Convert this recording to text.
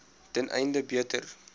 ten einde beter